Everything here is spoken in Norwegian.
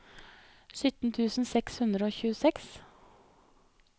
sytten tusen seks hundre og tjueseks